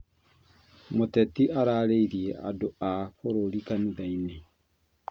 Mũteti ararĩirie andũ a bũrũri kanithainĩ